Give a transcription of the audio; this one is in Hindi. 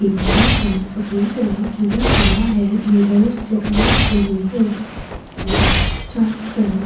दीवारों पर सफेद रंग किया हुआ है मिरर्स लगाए हुए हैं और चारों तरफ --